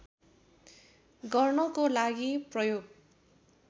गर्नको लागि प्रयोग